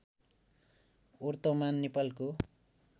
वर्तमान नेपालको